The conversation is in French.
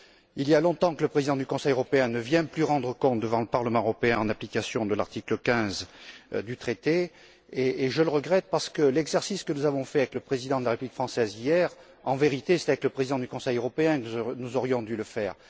Il y a longtemps que le président du Conseil européen ne vient plus rendre compte devant le Parlement européen, en application de l'article 15 du traité, et je le regrette parce que l'exercice que nous avons fait avec le président de la République française, hier, en vérité, c'était avec le président du conseil européen que nous aurions dû le faire.